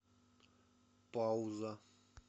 пауза